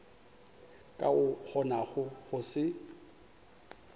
ka o kgonago go se